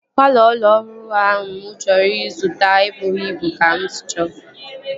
Palọ ụlọ ọhụrụ ahụ mụ chọrọ ịzụta ebughi ịbụ ka m sị chọọ